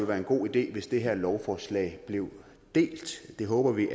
være en god idé hvis det her lovforslag blev delt det håber vi